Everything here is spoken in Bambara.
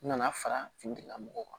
N nana fara finitigilamɔgɔw kan